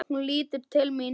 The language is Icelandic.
Hún lítur til mín.